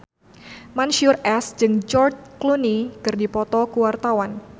Mansyur S jeung George Clooney keur dipoto ku wartawan